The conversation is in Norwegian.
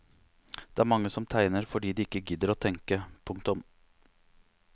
Det er mange som tegner fordi de ikke gidder å tenke. punktum